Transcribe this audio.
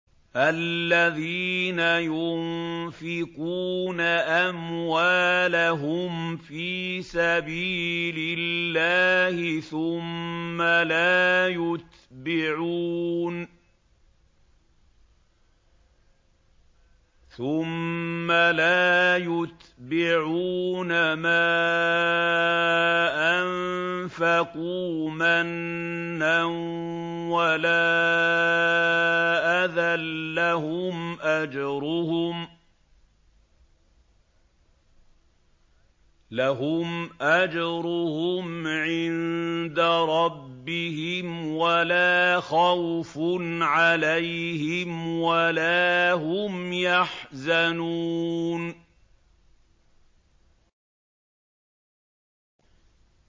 الَّذِينَ يُنفِقُونَ أَمْوَالَهُمْ فِي سَبِيلِ اللَّهِ ثُمَّ لَا يُتْبِعُونَ مَا أَنفَقُوا مَنًّا وَلَا أَذًى ۙ لَّهُمْ أَجْرُهُمْ عِندَ رَبِّهِمْ وَلَا خَوْفٌ عَلَيْهِمْ وَلَا هُمْ يَحْزَنُونَ